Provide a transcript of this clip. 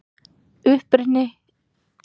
Uppruni þessara orða er talinn óviss.